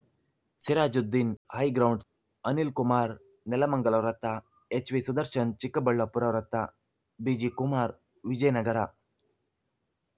Sirajuddin High Grounds Anil Kumar Nelamangala ವೃತ್ತ ಎಚ್‌ವಿಸುದರ್ಶನ್‌ ಚಿಕ್ಕಬಳ್ಳಾಪುರ ವೃತ್ತ ಬಿಜಿಕುಮಾರ್‌ ವಿಜಯನಗರ